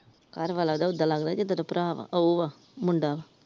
ਘਰਵਾਲਾ ਉਹਦਾ ਉਦਾ ਲੱਗਦਾ ਜਿੱਦਾਂ ਉਹਦਾ ਭਰਾ ਵਾ ਉਹ ਆ ਮੁੰਡਾ ।